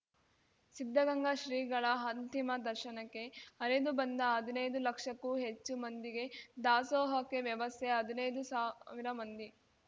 ಸಿದ್ಧಗಂಗಾ ಶ್ರೀಗಳ ಅಂತಿಮ ದರ್ಶನಕ್ಕೆ ಹರಿದು ಬಂದ ಹದಿನೈದು ಲಕ್ಷಕ್ಕೂ ಹೆಚ್ಚು ಮಂದಿಗೆ ದಾಸೋಹಕ್ಕೆ ವ್ಯವಸ್ಥೆ ಹದಿನೈದು ಸಾವಿರ ಮಂದಿ